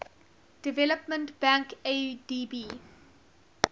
development bank adb